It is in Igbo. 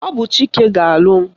Ọ bụ Chike ga-alụ m